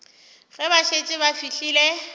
ge ba šetše ba fihlile